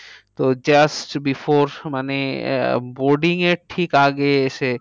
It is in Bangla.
তো just before মানে আহ boarding এর ঠিক আগে এসে